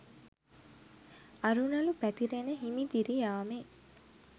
අරුණළු පැතිරෙන හිමිදිරි යාමේ